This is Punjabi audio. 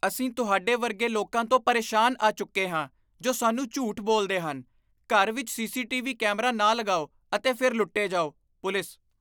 ਅਸੀਂ ਤੁਹਾਡੇ ਵਰਗੇ ਲੋਕਾਂ ਤੋਂ ਪਰੇਸ਼ਾਨ ਆ ਚੁੱਕੇ ਹਾਂ ਜੋ ਸਾਨੂੰ ਝੂਠ ਬੋਲਦੇ ਹਨ, ਘਰ ਵਿੱਚ ਸੀ.ਸੀ.ਟੀ.ਵੀ. ਕੈਮਰਾ ਨਾ ਲਗਾਓ ਅਤੇ ਫਿਰ ਲੁੱਟੇ ਜਾਓ ਪੁਲਿਸ